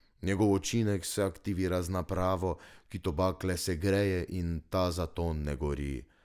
Njegov učinek se aktivira z napravo, ki tobak le segreje in ta zato ne gori.